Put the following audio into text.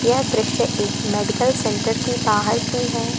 यह दृश्य एक मेडिकल सेंटर के बाहर की है।